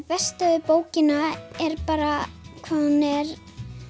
besta við bókina er bara hvað hún er